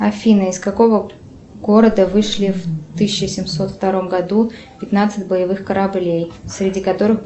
афина из какого города вышли в тысяча семьсот втором году пятнадцать боевых кораблей среди которых